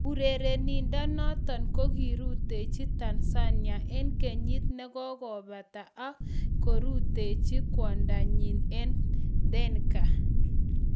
"Urerenindonoton ko kirutechi Tanzania en kenyit negokobata ak kirutechi kwondanyin en Tannga.